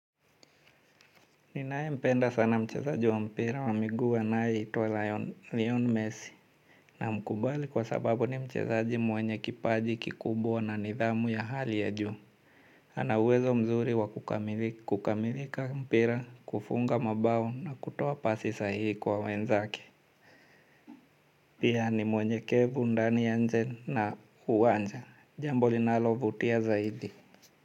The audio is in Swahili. Ninaempenda sana mchezaji wa mpira wa miguu anaitwa Leonel Messi namkubali kwa sababu ni mchezaji mwenye kipaji kikubwa na nidhamu ya hali ya juu. Anawezo mzuri wa kukamilika mpira, kufunga mabao na kutoa pasi sahihi kwa wenzake. Pia ni mnyenyekevu, ndani na nje ya uwanja. Jambo linalovutia zaidi.